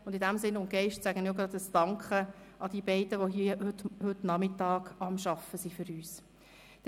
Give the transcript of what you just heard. In diesem Sinn und Geist spreche ich auch meinen Dank aus an jene beiden Protokollführenden, die heute Nachmittag hier für uns am Arbeiten sind.